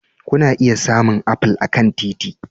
Kuna iya samun apple a kan titi